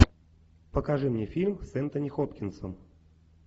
покажи мне фильм с энтони хопкинсом